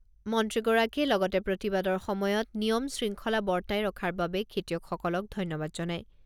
মন্ত্ৰীগৰাকীয়ে লগতে প্ৰতিবাদৰ সময়ত নিয়ম শৃংখলা বৰ্তাই ৰখাৰ বাবে খেতিয়কসকলক ধন্যবাদ জনায়।